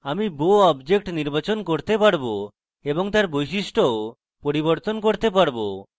আমি bow object নির্বাচন করতে পারবো এবং তার বৈশিষ্টও পরিবর্তন করতে পারবো